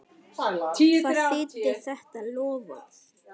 Hvað þýddi þetta loforð?